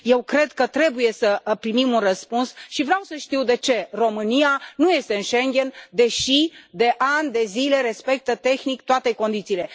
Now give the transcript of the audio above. Eu cred că trebuie să primim un răspuns și vreau să știu de ce România nu este în Schengen, deși, de ani de zile, respectă, tehnic, toate condițiile?